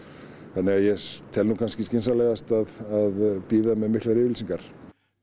þannig að ég tel nú kannski skynsamlegast að bíða með miklar yfirlýsingar